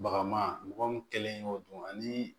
Bagama mɔgɔ min kɛlen y'o dun ani